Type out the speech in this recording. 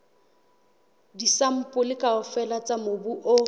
disampole kaofela tsa mobu o